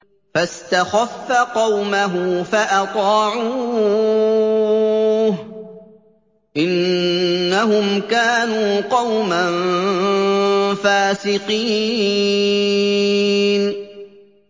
فَاسْتَخَفَّ قَوْمَهُ فَأَطَاعُوهُ ۚ إِنَّهُمْ كَانُوا قَوْمًا فَاسِقِينَ